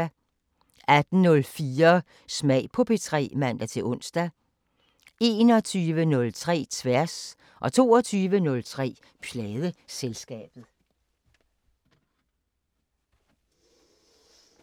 18:04: Smag på P3 (man-ons) 21:03: Tværs 22:03: Pladeselskabet